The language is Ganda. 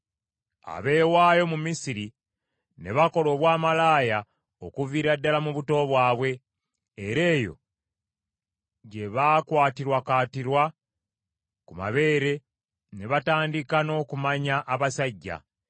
abeewaayo mu Misiri, ne bakola obwamalaaya okuviira ddala mu buto bwabwe, era eyo gye baakwatirakwatira ku mabeere ne batandika n’okumanya abasajja.